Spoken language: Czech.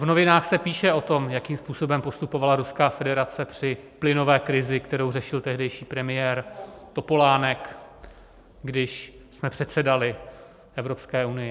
V novinách se píše o tom, jakým způsobem postupovala Ruská federace při plynové krizi, kterou řešil tehdejší premiér Topolánek, když jsme předsedali Evropské unii.